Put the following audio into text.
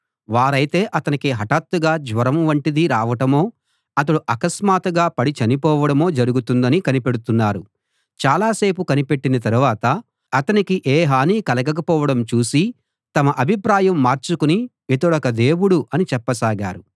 వారైతే అతనికి హటాత్తుగా జ్వరం వంటిది రావటమో అతడు అకస్మాత్తుగా పడి చనిపోవడమో జరుగుతుందని కనిపెడుతున్నారు చాలాసేపు కనిపెట్టిన తరువాత అతనికి ఏ హానీ కలగకపోవడం చూసి తమ అభిప్రాయం మార్చుకుని ఇతడొక దేవుడు అని చెప్పసాగారు